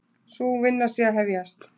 Sú vinna sé að hefjast.